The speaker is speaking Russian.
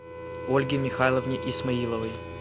ольге михайловне исмаиловой